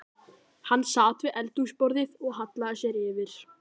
Hann sat við eldhúsborðið og hallaði sér yfir